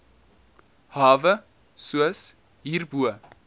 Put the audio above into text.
hawe soos hierbo